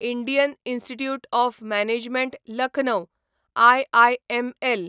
Indian institute of management Lucknow IIML